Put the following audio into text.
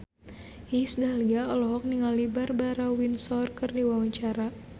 Iis Dahlia olohok ningali Barbara Windsor keur diwawancara